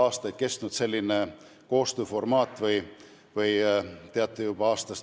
Ma pean eeskätt silmas juba aastaid kehtinud koostööformaati.